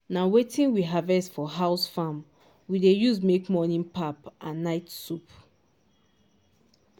na wetin we harvest for house farm we dey use make morning pap and night soup